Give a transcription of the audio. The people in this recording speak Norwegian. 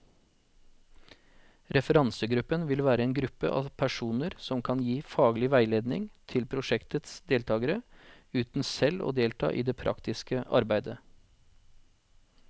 Referansegruppen vil være en gruppe av personer som kan gi faglig veiledning til prosjektets deltagere, uten selv å delta i det praktiske arbeidet.